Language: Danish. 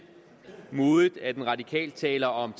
modigt at de radikale taler om